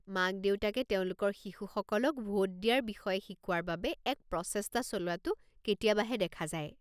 মাক-দেউতাকে তেওঁলোকৰ শিশুসকলক ভোট দিয়াৰ বিষয়ে শিকোৱাৰ বাবে এক প্ৰচেষ্টা চলোৱাটো কেতিয়াবাহে দেখা যায়।